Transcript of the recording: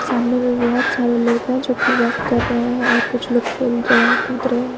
सामने में बहुत सारे लोग हैं जो कि वॉक कर रहे हैं और कुछ लोग खेल रहे हैं कूद रहे हैं।